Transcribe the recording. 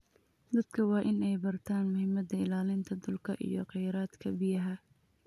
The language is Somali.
Dadka waa in ay bartaan muhiimada ilaalinta dhulka iyo khayraadka biyaha.